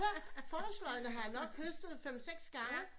Forårsløgene har jeg nok høstet fem seks gange